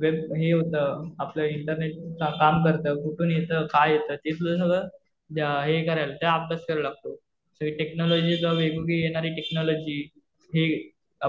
Web हे होतं, आपलं इंटरनेट काम करतं, कुठून येतं, काय येतं हे तुला सगळं हे करायला अभ्यास करायला लागतो. सगळी टेक्नॉलॉजी वेगवेगळी येणारी टेक्नॉलॉजी हे